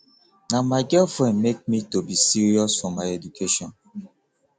na my girlfriend make me to be serious for my education